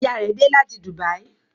Ìyá rẹ tí dé là tí Dubai.